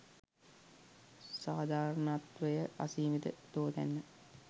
සාධාරණත්වය අසීමිත තෝතැන්න